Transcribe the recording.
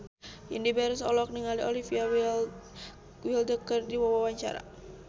Indy Barens olohok ningali Olivia Wilde keur diwawancara